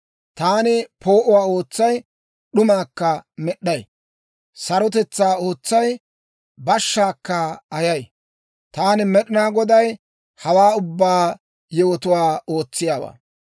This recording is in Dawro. Taani poo'uwaa ootsay; d'umaakka med'd'ay. Sarotetsaa ootsay; bashshaakka ayay. Taani Med'inaa Goday, ha ubbaa yewotuwaa ootsiyaawaa.